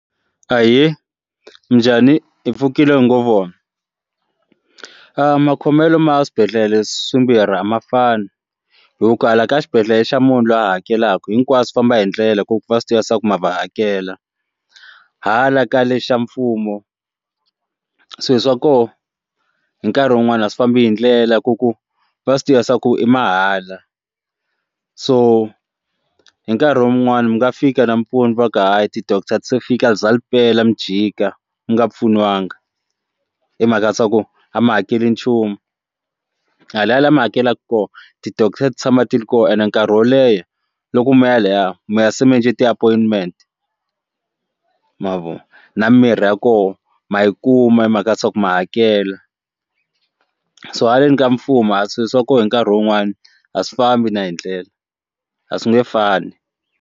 Ahee, minjhani, hi pfukile hi ngo vona makhomelo ma swibedhlele swimbirhi a mafana hi ku kala ka xibedhlele xa munhu loyi a hakelaka hinkwaswo famba hi ndlela hi ku va swi tiva ku ma va hakela hala kale xa mfumo swo swa koho hi nkarhi wun'wani a swi fambi hi ndlela ku ku va swi tivisa ku i mahala so hi nkarhi wun'wani mi nga fika nampundu va ka hayi ti-doctor a ti se fika ri za ri pela mi jika mi nga pfuniwanga i mhaka ya swaku a mi hakeli nchumu hala ya lama hakelaka koho ti-doctor ti tshama ti ri koho and nkarhi wo leha loku moya laya moya mi ya se mi endle ti-appointment mavona na mirhi ya koho ma yi kuma hi mhaka ya swa ku ma hakela so haleni ka mfumo a swilo swa koho hi nkarhi wun'wani a swi fambi na hi ndlela a swi nge fani.